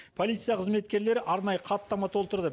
полиция қзыметкерлері арнайы хаттама толтырды